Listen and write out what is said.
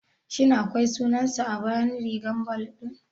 Shin akwai sunansa a bayan rigar ball ɗin?